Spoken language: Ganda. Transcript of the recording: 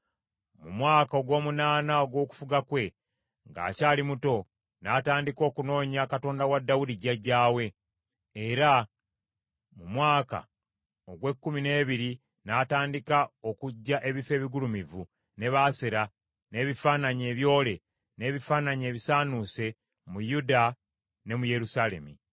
Mu mwaka ogw’omunaana ogw’okufuga kwe, ng’akyali muto, n’atandika okunoonya Katonda wa Dawudi jjajjaawe, era mu mwaka ogw’ekkumi n’ebiri n’atandika okuggya ebifo ebigulumivu, ne Baasera, n’ebifaananyi ebyole, n’ebifaananyi ebisaanuuse mu Yuda ne mu Yerusaalemi.